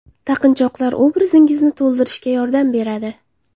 Taqinchoqlar obrazingizni to‘ldirishga yordam beradi.